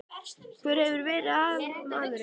Hver hefur verið aðalmaðurinn?